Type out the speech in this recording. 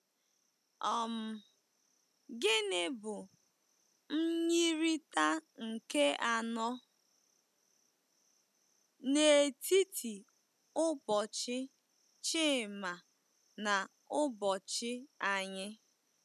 um Gịnị bụ myirịta nke anọ n'etiti ụbọchị Chima na ụbọchị anyị?